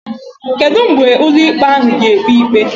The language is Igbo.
kedu mgbe ụlọ ikpe ahụ ga ekpe ikpe?